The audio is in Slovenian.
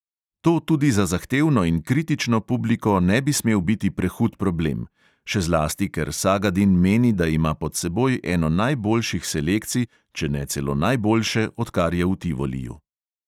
To tudi za zahtevno in kritično publiko ne bi smel biti prehud problem, še zlasti, ker sagadin meni, da ima pod seboj eno najboljših selekcij, če ne celo najboljše, odkar je v tivoliju.